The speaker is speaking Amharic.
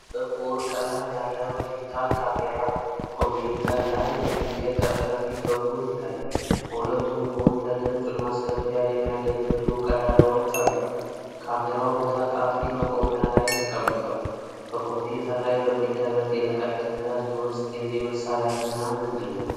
ጥቁር ቀለም ያለው ዲጂታል ካሜራ፣ ኮምፒዩተር ላይ የሚገጠም፣ ከፊት በኩል ይታያል። በሁለቱም ጎን ለድምጽ ማስገቢያ የሚያገለግሉ ቀዳዳዎች አሉት። ካሜራው በታጣፊ መቆሚያ ላይ ተቀምጧል። በኮምፒዩተር ላይ በሚደረግ የርቀት ትምህርት ውስጥ የዚህ መሣሪያ ሚና ምንድነው?